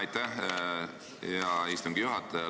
Aitäh, hea istungi juhataja!